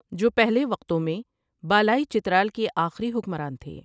جو پہلے وقتوں میں بالائی چترال کے اخری حکمران تھے ۔